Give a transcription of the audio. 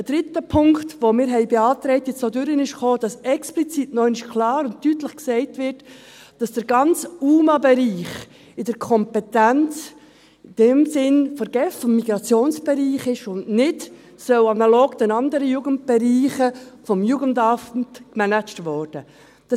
Ein dritter Punkt, den wir beantragt haben und der jetzt auch durchkam, ist, dass explizit noch einmal klar und deutlich gesagt wird, dass der ganze Bereich der unbegleiteten minderjährigen Asylsuchenden (UMA) in der Kompetenz in dem Sinn der GEF, dem Migrationsbereich, ist und nicht analog den anderen Jugendbereichen vom Jugendamt gemanagt werden soll.